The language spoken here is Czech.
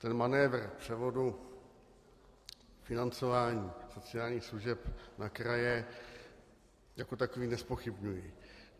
Ten manévr převodu financování sociálních služeb na kraje jako takový nezpochybňuji.